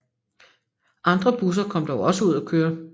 Andre busser kom dog også ud at køre